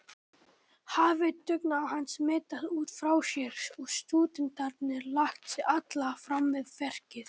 Hafi dugnaður hans smitað út frá sér og stúdentarnir lagt sig alla fram við verkið.